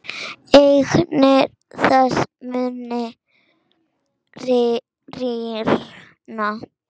Eignir þess munu rýrna.